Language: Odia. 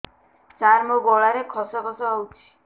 ସାର ମୋ ଗଳାରେ ଖସ ଖସ ହଉଚି